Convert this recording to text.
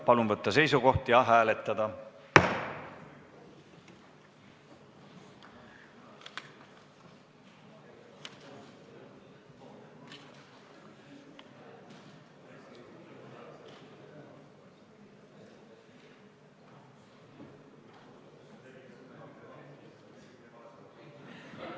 Palun võtta seisukoht ja hääletada!